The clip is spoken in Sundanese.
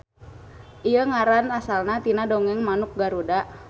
Ieu ngaran asalna tina dongeng manuk Garuda.